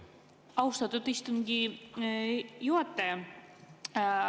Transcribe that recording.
Austatud istungi juhataja!